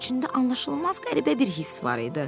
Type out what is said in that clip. İçində anlaşılmaz qəribə bir hiss var idi.